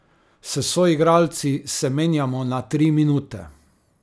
S soigralci se menjamo na tri minute.